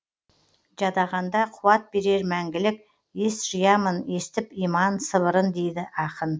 жадағанда қуат берер мәңгілік ес жиямын естіп иман сыбырын дейді ақын